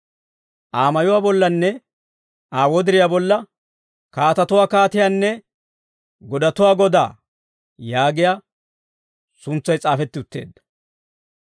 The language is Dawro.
Aa mayuwaa bollanne Aa wodiriyaa bolla, «Kaatatuwaa Kaatiyaanne godatuwaa Godaa» yaagiyaa suntsay s'aafetti utteedda.